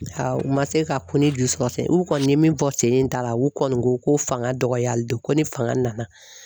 u ma se ka ko ni ju sɔrɔ ten, u kɔni ye min fɔ sen ta la u kɔni ko ko fanga dɔgɔyali don ko ni fanga nana.